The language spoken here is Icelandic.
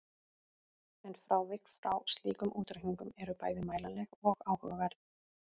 En frávik frá slíkum útreikningum eru bæði mælanleg og áhugaverð.